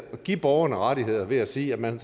der giver borgerne rettigheder ved at sige at man